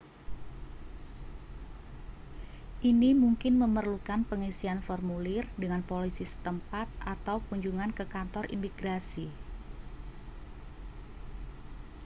ini mungkin memerlukan pengisian formulir dengan polisi setempat atau kunjungan ke kantor imigrasi